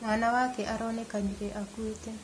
Mwana wake aronekanire akuĩte